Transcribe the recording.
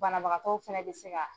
Banabagatɔw fana bi se ka.